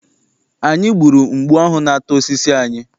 Anyị gburu mgbu ahụ na-ata osisi anyị.